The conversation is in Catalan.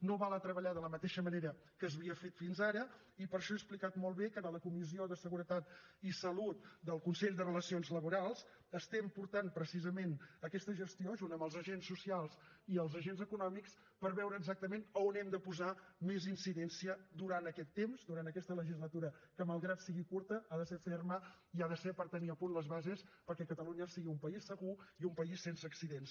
no val a treballar de la mateixa manera que s’havia fet fins ara i per això he explicat molt bé que en la comissió de seguretat i salut del consell de relacions laborals estem portant precisament aquesta gestió junt amb els agents socials i els agents econòmics per veure exactament a on hem de posar més incidència durant aquest temps durant aquesta legislatura que malgrat que sigui curta ha de ser ferma i ha de ser per tenir a punt les bases perquè catalunya sigui un país segur i un país sense accidents